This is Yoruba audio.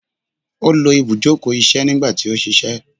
o lo ibujoko iṣẹ nigba ti o ṣiṣẹ